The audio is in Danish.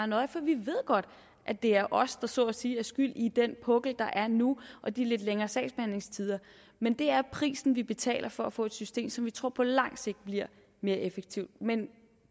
nøje for vi ved godt at det er os der så at sige er skyld i den pukkel der er nu og de lidt længere sagsbehandlingstider men det er prisen vi betaler for at få et system som vi tror på lang sigt bliver mere effektivt men